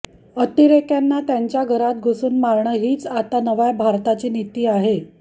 अतिरेक्यांना त्यांच्या घरात घुसून मारणं हीच आता नव्या भारताची नीती आहे